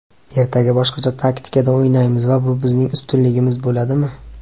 Ertaga boshqacha taktikada o‘ynaymiz va bu bizning ustunligimiz bo‘ladimi?